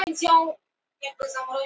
Friðný, hvernig er veðrið í dag?